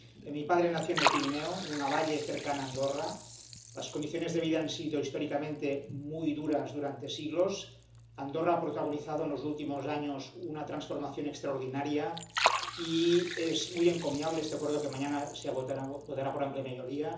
Mi padre nació en el Pirineo, en un valle cercano a Andorra allí las condiciones de vida han sido históricamente muy duras durante siglos. Andorra ha protagonizado en los últimos años una transformación extraordinaria y es muy encomiable este Acuerdo que mañana se aprobará por amplia mayoría.